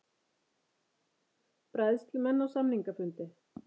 Bræðslumenn á samningafundi